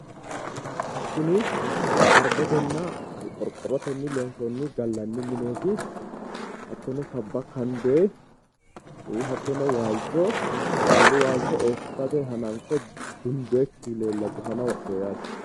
Kuni xarbetenna qorqorrotnni loonsoonni gallanni mineeti. hattono sabba kande hattono waalcho siwiilu waalcho eessirate hananfe gundoykkihu leellawo cufana wodhewo yaate.